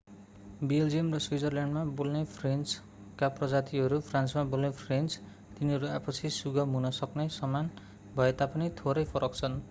Belgium र स्विजरल्याण्डमा बोल्ने फ्रेन्चका प्रजातिहरू फ्रान्समा बोल्ने फ्रेन्च तिनीहरू आपसी सुगम हुन सक्ने समान भए तापनि थोरै फरक छन्